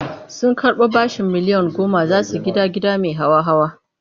Sun karɓo bashin miliyan goma za su gida gida mai hawa-hawa.